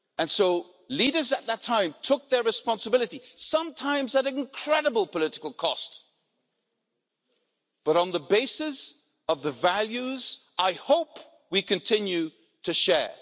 So leaders at that time took their responsibility, sometimes at incredible political cost, but on the basis of the values I hope we continue to share.